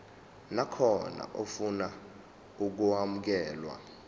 nakhona ofuna ukwamukelwa